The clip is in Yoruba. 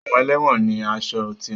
Àwọn ẹlẹ́wọ̀n ni aṣọ tiwọn